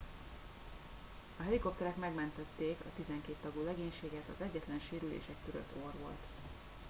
a helikopterek megmentették a tizenkét tagú legénységet az egyetlen sérülés egy törött orr volt